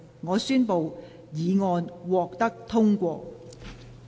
我宣布議案獲得通過。